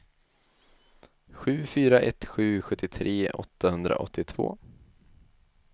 sju fyra ett sju sjuttiotre åttahundraåttiotvå